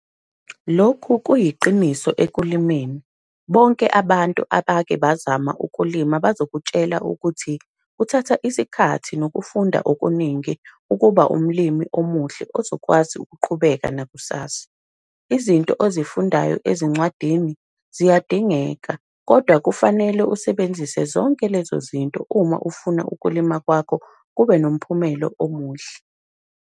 Lokhu kuyiqiniso ekulimeni - bonke abantu abake bazamile ukulima bazokutshela ukuthi kuthatha isikhathi nokufunda okuningi ukuba umlimi omuhle ozokwazi ukuqhubeka nakusasa - izinto ozifundayo ezincwadini, ziyadingeka, kodwa kufanele uzisebenzise zonke lezo zinto uma ufuna ukulima kwakho kube nomphumelo omuhle.